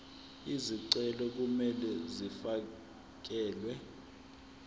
izicelo kumele zifakelwe